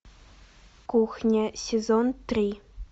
кухня сезон три